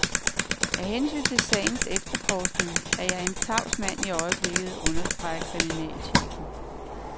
Af hensyn til sagens efterforskning er jeg en tavs mand i øjeblikket, understreger kriminalchefen.